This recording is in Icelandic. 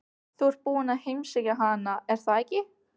Þú ert búinn að heimsækja hana, er það ekki?